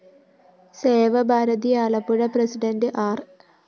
Seva Bharati Ambalappuzha president ആര്‍